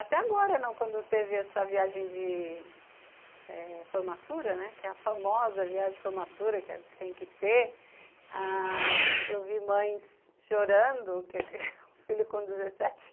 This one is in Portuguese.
Até agora, quando teve essa viagem de eh formatura, que é a famosa viagem de formatura que tem que ter, ãh... eu vi mães chorando, porque o filho com dezessete